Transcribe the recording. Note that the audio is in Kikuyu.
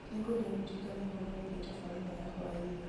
nĩ ngwenda ũndirikanie ũhoro wigiĩ tabarĩra ya hwaĩini